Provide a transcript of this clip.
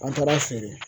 An taara feere